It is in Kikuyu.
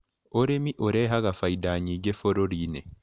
ũrĩmi ũrehaga bainda nyingĩ bũruriinĩ.